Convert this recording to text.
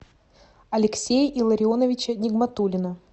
алексея илларионовича нигматуллина